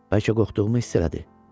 Bəlkə qorxduğumu hiss elədi?